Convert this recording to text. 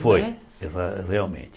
Né Foi, re realmente.